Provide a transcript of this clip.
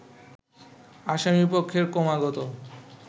আসামিপক্ষের ক্রমাগত